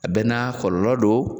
A bɛɛ n'a kɔlɔlɔ don.